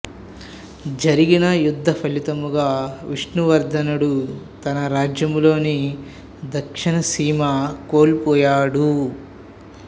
జరిగిన యుద్ధ ఫలితముగా విష్ణువర్ధనుడు తన రాజ్యములోని దక్షిణసీమ కోల్పోయాడు